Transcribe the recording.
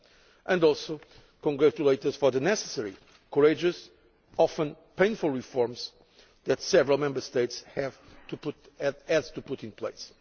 They also congratulate us on the necessary, courageous and often painful reforms that several Member States have had to put in place.